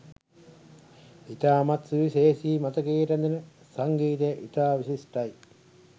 ඉතාමත් සුවිශේෂී මතකයේ රැඳෙන සංගීතය ඉතා විශිෂ්ටයි